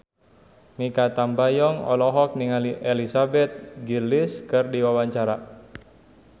Mikha Tambayong olohok ningali Elizabeth Gillies keur diwawancara